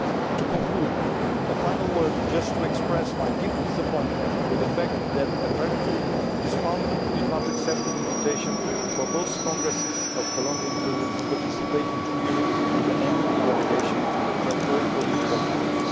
To conclude, a final word to express my deep disappointment at the fact that apparently this Parliament did not accept an invitation from the Congresses of both Colombia and Peru to participate in two hearings with an MEP delegation from all political groups.